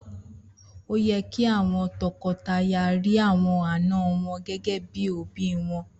Oye ki àwọn tọkọtaya ri àwọn àna wọn gégé bíi òbí wọn